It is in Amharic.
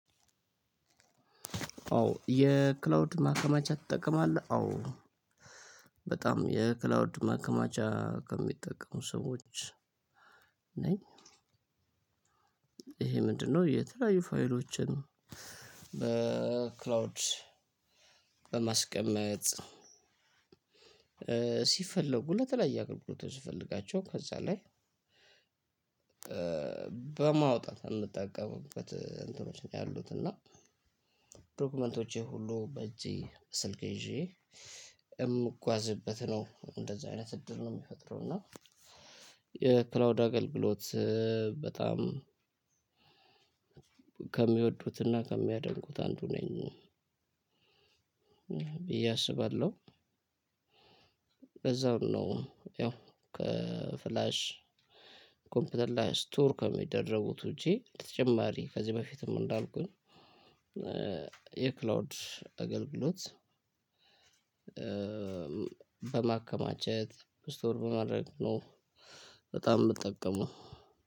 ኦ የክላውድ ማከማቻ ትጠቀማለህ? አዎ በጣም የክላውድ ማከማቻ ከሚጠቀሙ ሰዎች ነኝ። ይሄ ምንድነው የተለያዩ ፋይሎችን በክላውድ በማስቀመጥ ሲፈለጉ ለተለያየ አገልግሎቶች ስፈልጋቸው ከዛ ላይ በማውጣት የምጠቀምበት እንትኖች ነው ያሉት እና ዶክመንቶቼ ሁሉ በእጄ ስልክ ይዤ የምጓዝበት ነው። እንደዚህ አይነት እድል ነው የሚፈጥረው እና የክላውድ አገልግሎት በጣም ከሚወዱትና ከሚያደንቁት አንዱ ነኝ ብዬ አስባለሁ በዛው ነው ያው ከፍላሽ፣ ኮምፒውተር ላይ ስቶር ከሚደረጉት ውጪ በተጨማሪ ከዚህ በፊትም እንዳልኩኝ የክላውድ አገልግሎት በማከማቸት፣ ስቶር በማድረግ ነው በጣም የምጠቀመው።